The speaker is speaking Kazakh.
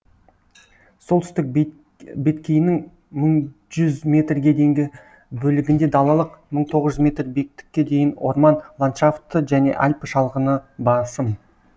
солтүстік беткейінің мың жүз метрге дейінгі бөлігінде далалық мың тоғыз жүз метр биіктікке дейін орман ландшафты және альпі шалғыны басым